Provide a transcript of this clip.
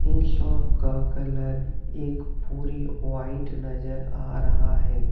इस शॉप का कलर एक पूरी व्हाइट नजर आ रहा है।